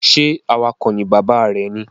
Ṣe awakọ̀ ni bàbá rẹ ní?